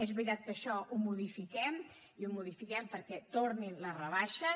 és veritat que això ho modifiquem i ho modifiquem perquè tornin les rebaixes